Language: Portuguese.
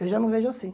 Eu já não vejo assim.